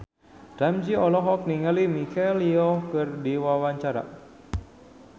Ramzy olohok ningali Michelle Yeoh keur diwawancara